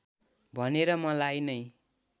भनेर मलाई नै